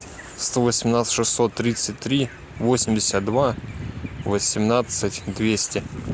сто восемнадцать шестьсот тридцать три восемьдесят два восемнадцать двести